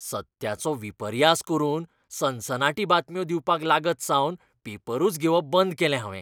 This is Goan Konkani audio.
सत्याचो विपर्यास करून सनसनाटी बातम्यो दिवपाक लागतसावन पेपरूच घेवप बंद केलें हावें.